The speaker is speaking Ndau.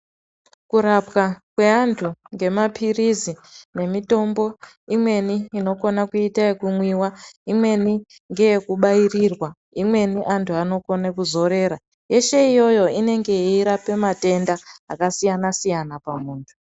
Ku rapwa kwe antu nge mapirisi ne mitombo imweni inokona kuita yeku mwiwa imweni ngeye ku bairirwa imweni antu anokona ku zorera yeshe iyoyo inenge yei rape matenda aka siyana siyana pa muntu.